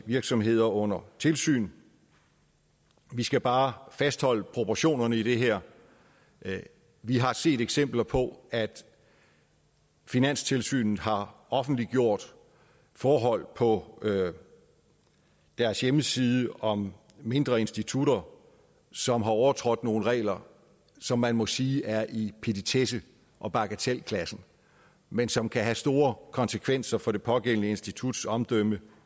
virksomheder under tilsyn vi skal bare fastholde proportionerne i det her vi har set eksempler på at finanstilsynet har offentliggjort forhold på deres hjemmeside om mindre institutter som har overtrådt nogle regler som man må sige er i petitesse og bagatelklassen men som kan have store konsekvenser for det pågældende instituts omdømme